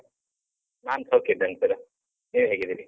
ನಾನ್ ಸೌಖ್ಯ ಇದ್ದೇನ್ sir . ನೀವ್ ಹೇಗಿದ್ದೀರಿ?